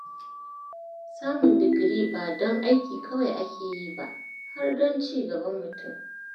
Samun digiri ba don aiki kawai ake yi ba, har don ci gaban mutum.